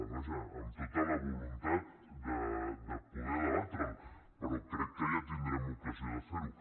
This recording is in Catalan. vaja amb tota la voluntat de poder debatre’l però crec que ja tindrem ocasió de fer ho